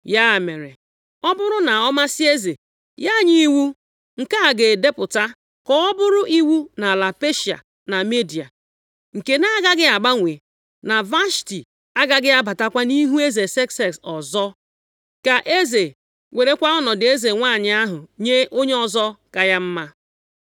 “Ya mere, ọ bụrụ na ọ masị eze, ya nye iwu, nke a ga-edepụta, ka ọ bụrụ iwu nʼala Peshịa na Midia, nke na-agaghị agbanwe, na Vashti agaghị abatakwa nʼihu eze Sekses ọzọ. Ka eze werekwa ọnọdụ eze nwanyị ahụ nye onye ọzọ ka ya mma.